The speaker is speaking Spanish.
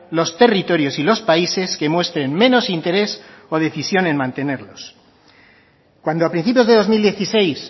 los territorios y los países que muestren menos interés o decisión en mantenerlos cuando a principios de dos mil dieciséis